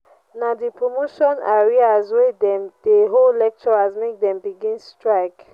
na di promotion arrears wey dem dey owe lecturers make dem begin strike.